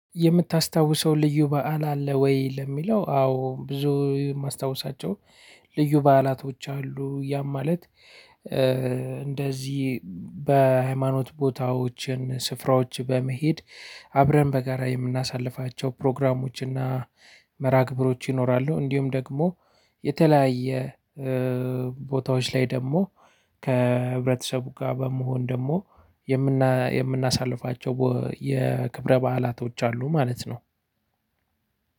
እምታስታውሰው? ልዩ በዓል አለ ወይ ለሚለው አዎ ብዙ ማስታወሳቸው ልዩ በዓላቶች አሉ ያም ማለት። እንደዚህ በሃይማኖት ቦታዎችን ስፍራዎች በመሄድ አብረን በጋራ የምናሳልፋቸው ፕሮግራሞች እና መርሃ ግብሮች ይኖራሉ። እንዲሁም ደግሞ የተለያየ ቦታዎች ላይ ደግሞ ከህብረተሰቡ ጋር በመሆን ደግሞ የምናሳልፋቸው የክብረ በዓላቶች አሉ። ማለት ነው።